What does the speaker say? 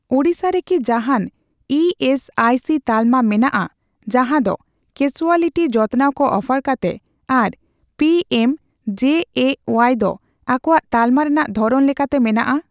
ᱳᱰᱤᱥᱟ ᱨᱮᱠᱤ ᱡᱟᱦᱟᱱ E S I C ᱛᱟᱞᱢᱟ ᱢᱮᱱᱟᱜᱼᱟ ᱡᱟᱦᱟᱸ ᱫᱚ ᱠᱮᱥᱩᱣᱟᱞᱤᱴᱤ ᱡᱚᱛᱱᱟᱣ ᱠᱚ ᱚᱯᱷᱟᱨ ᱠᱟᱛᱮ ᱟᱨ ᱯᱤᱮᱢᱡᱮᱮᱣᱟᱭ ᱫᱚ ᱟᱠᱚᱣᱟᱜ ᱛᱟᱞᱢᱟ ᱨᱮᱱᱟᱜ ᱫᱷᱚᱨᱚᱱ ᱞᱮᱠᱟᱛᱮ ᱢᱮᱱᱟᱜᱼᱟ ?